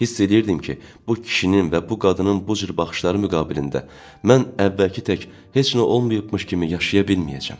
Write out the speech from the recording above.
Hiss eləyirdim ki, bu kişinin və bu qadının bu cür baxışları müqabilində mən əvvəlki tək heç nə olmayıbmış kimi yaşaya bilməyəcəm.